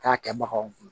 K'a kɛ baganw kun